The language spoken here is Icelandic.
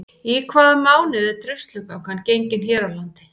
Í hvaða mánuði er Druslugangan gengin hér á landi?